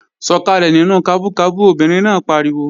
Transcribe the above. Sọkalẹ nínú kabú kabú! Obìnrin náà pariwo